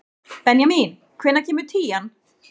Benjamín, hvenær kemur tían?